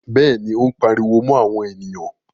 Bẹ́ẹ̀ni, Ó ń pariwo mọ́ àwọn ènìyàn.